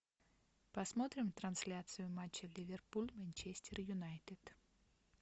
посмотрим трансляцию матча ливерпуль манчестер юнайтед